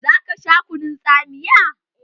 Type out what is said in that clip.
Zaka sha kunun tsamiya?